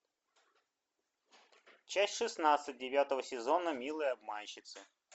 часть шестнадцать девятого сезона милые обманщицы